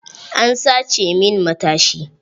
An sace min matashi.